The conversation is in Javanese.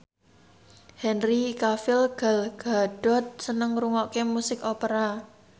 Henry Cavill Gal Gadot seneng ngrungokne musik opera